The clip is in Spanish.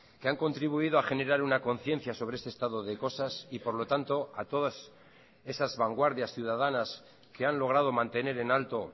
que han contribuido a generar una conciencia sobre este estado de cosas y por lo tanto a todas esas vanguardias ciudadanas que han logrado mantener en alto